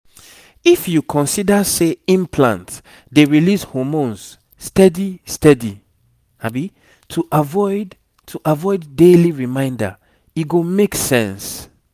if you consider say implant dey release hormones steady steady to avoid to avoid daily reminder e go make sense.